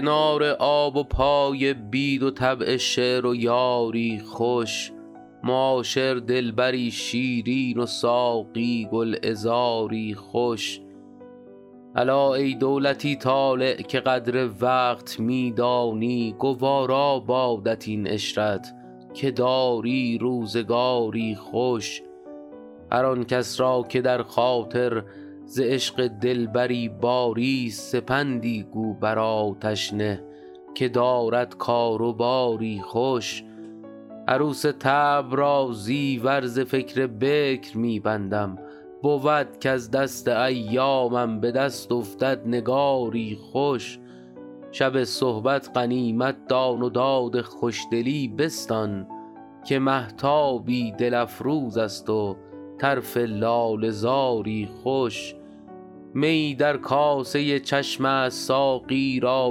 کنار آب و پای بید و طبع شعر و یاری خوش معاشر دلبری شیرین و ساقی گلعذاری خوش الا ای دولتی طالع که قدر وقت می دانی گوارا بادت این عشرت که داری روزگاری خوش هر آن کس را که در خاطر ز عشق دلبری باریست سپندی گو بر آتش نه که دارد کار و باری خوش عروس طبع را زیور ز فکر بکر می بندم بود کز دست ایامم به دست افتد نگاری خوش شب صحبت غنیمت دان و داد خوشدلی بستان که مهتابی دل افروز است و طرف لاله زاری خوش میی در کاسه چشم است ساقی را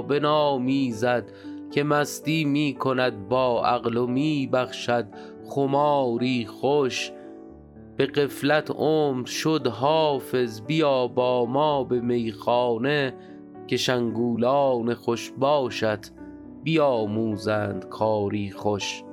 بنامیزد که مستی می کند با عقل و می بخشد خماری خوش به غفلت عمر شد حافظ بیا با ما به میخانه که شنگولان خوش باشت بیاموزند کاری خوش